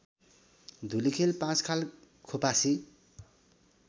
Dhulikhel Panchkhal Khopasi